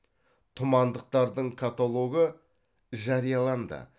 тұмандықтардың каталогы жарияланды